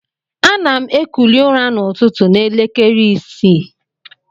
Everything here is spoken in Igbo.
Anam ekuli ura na ụtụ na elekere isi.